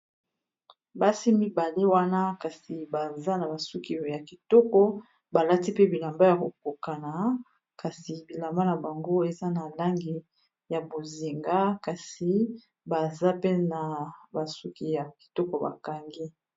Basi mibale wana kasi baza na basuki ya kitoko balati pe bilamba ya kokokana kasi bilamba na bango eza na langi ya bozinga kasi baza pe na basuki ya kitoko bakangi.